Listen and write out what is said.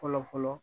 Fɔlɔ fɔlɔ